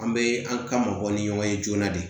An bɛ an ka mɔgɔ ni ɲɔgɔn ye joona de